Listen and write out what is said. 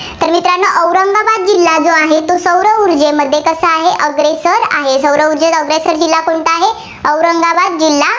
जिल्हा जो आहे, तो सौर ऊर्जेमध्ये कसा आहे, अग्रेसर आहे. सौर ऊर्जेत अग्रेसर जिल्हा कोणता आहे, औरंगाबाद जिल्हा.